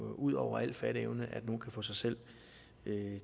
ud over al fatteevne at folk kan få sig selv